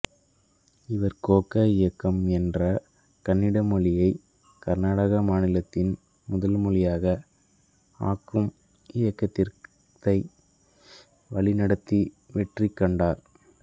இவர் கோகக் இயக்கம் என்ற கன்னட மொழியை கர்நாடக மாநிலத்தின் முதல் மொழியாக ஆக்கும் இயக்கத்தை வழிநடத்தி வெற்றி கண்டார்